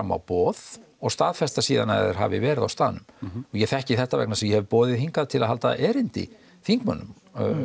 má boð og staðfesta síðan að þeir hafi verið á staðnum ég þekki þetta vegna þess að eg hef boðið hingað til þess að halda erindi þingmönnum